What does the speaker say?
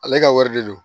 Ale ka wari de don